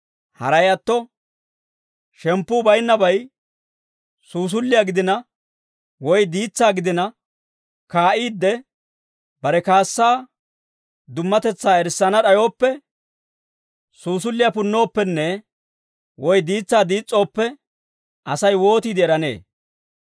Haray atto, shemppuu baynnabay suusulliyaa gidina woy diitsaa gidina kaa'iidde, bare kaassaa dummatetsaa erissana d'ayooppe, suusulliyaa punnooppenne, woy diitsaa diis's'ooppe, Asay wootiide eranee?